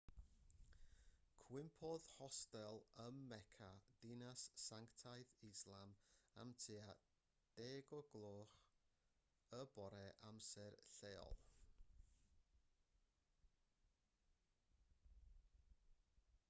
cwympodd hostel ym mecca dinas sanctaidd islam am tua 10 o'r gloch y bore amser lleol